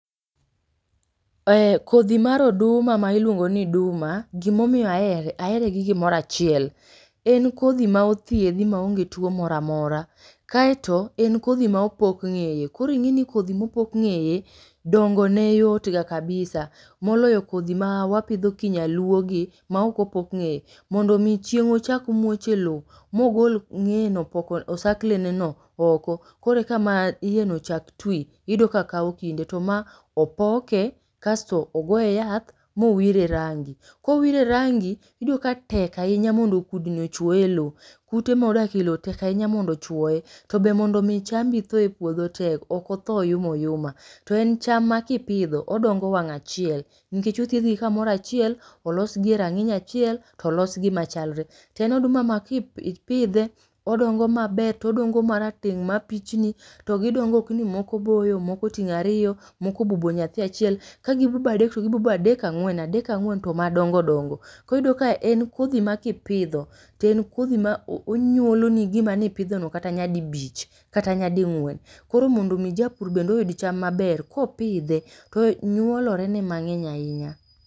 Ee kodhi mar oduma ma iluongoni duma gimomiyo ahere ahere gi gimoro achiel en kodhi ma othiedhi maonge tuo moro amora kaeto en kodhi ma opok ng'eye. Koro ing'eni kodhi mopok ng'eye, dongone yot ga kabisa moloyo kodhi mawapidho kinyaluogi maok opok ngeye. Mondo mi chieng ochak muoch eloo mogol ng'eyeno opoko osakleneno oko koreka maiyeno chak twi iyudo ka kawo kinde. To ma opoke kasto ogoye yath mowire rangi. Kowire rangi iyudo ka tek ahinya mondo kudni ochuoye eloo. Kute modake eloo tek ahinya mondo ochuoye tobe mondo mi chambi thoe puodho tek ok othoo oyuma oyuma. To en cham makipidho odongo wang' achiel nikech othiedhgi kamoro achiel olosgi erang'iny achiel tolosgi machalre. Toen oduma ma kipidhe odongo maber todongo marateng' mapichni togi dongo okni mokoboyo moko oting' ariyo moko obubo nyathi achiel kagibubo adek togibubo adek ang'wen adek ag'wen to madongo dongo koro ibiro yudo ka en kodhi makipidho to en kodhi ma onyuoloni gima nipidhono kata nya dibich kata nya ding'wen. Koro mondo mi japur bende oyud cham maber kopidhe to nyuolorene mang'eny ahinya.